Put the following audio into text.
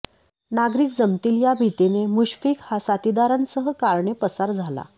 नागरिक जमतील या भीतीने मुशफीक हा साथीदारांसह कारने पसार झाला